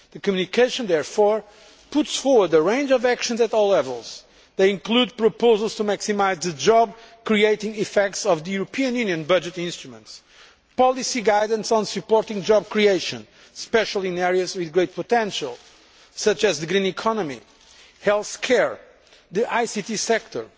The communication therefore puts forward a range of actions at all levels. These include proposals to maximise the job creating effects of the European Union budgetary instruments and policy guidance on supporting job creation, especially in areas with great potential such as the green economy, health care and the ICT sector.